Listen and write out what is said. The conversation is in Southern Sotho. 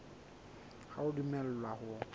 ha o a dumellwa ho